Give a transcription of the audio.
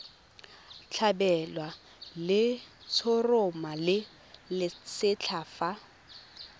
tlhabelwa letshoroma le lesetlha fa